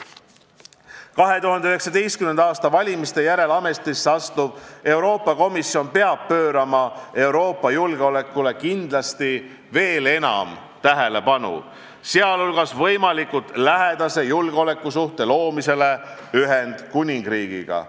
2019. aasta valimiste järel ametisse asuv Euroopa Komisjon peab pöörama Euroopa julgeolekule kindlasti veel enam tähelepanu, sh võimalikult lähedase julgeolekusuhte loomisele Ühendkuningriigiga.